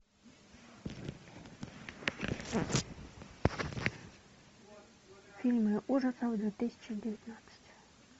фильмы ужасов две тысячи девятнадцать